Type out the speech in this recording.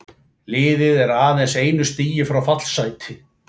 Liðið er aðeins einu stigi frá fallsæti.